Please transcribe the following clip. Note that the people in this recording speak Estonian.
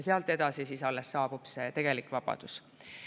Sealt edasi alles saabub tegelik vabadus.